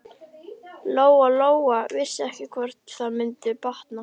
Lóa-Lóa vissi ekki hvort það mundi batna.